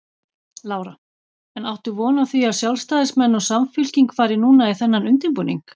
Lára: En áttu von á því að sjálfstæðismenn og Samfylking fari núna í þennan undirbúning?